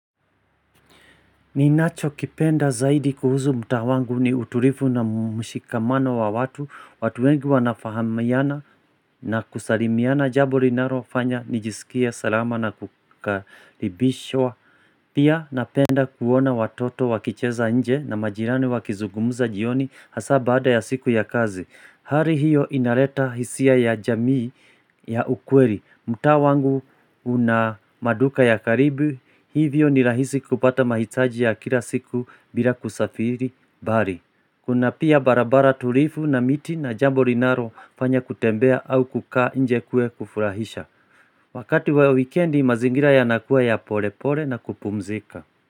Ninacho kipenda zaidi kuhusu mtaa wangu ni utulivu na mshikamano wa watu, watu wengi wanafahamiana na kusalimiana jambi linalofanya, nijisikia, salama na kukaribishwa Pia napenda kuona watoto wakicheza nje na majirani wakizugumuza jioni hasa baada ya siku ya kazi hari hiyo inaleta hisia ya jamii ya ukweli, mtaa wangu una maduka ya karibu, hivyo ni rahisi kupata mahitaji ya kila siku bila kusafiri mbari. Kuna pia barabara tulivu na miti na jambo linaro fanya kutembea au kuka nje kuwe kufurahisha. Wakati wa wikendi mazingira yanakuwa ya pole pole na kupumzika.